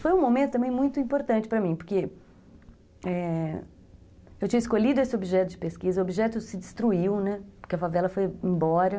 Foi um momento também muito importante para mim, porque, é, eu tinha escolhido esse objeto de pesquisa, o objeto se destruiu, porque a favela foi embora.